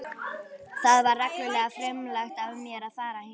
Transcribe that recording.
Það var reglulega frumlegt af mér að fara hingað.